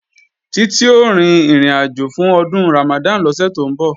Títí ó rin ìrìnàjò fún Ọdún Ramadan lọ́sẹ̀ tó ń bọ̀